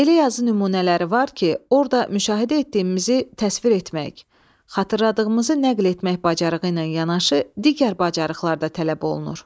Elə yazı nümunələri var ki, orda müşahidə etdiyimizi təsvir etmek, xatırladığımızı nəql etmək bacarığı ilə yanaşı digər bacarıqlar da tələb olunur.